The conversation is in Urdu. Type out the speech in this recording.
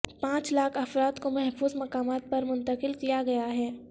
پانچ لاکھ افراد کو محفوظ مقامات پر منتقل کیا گیا ہے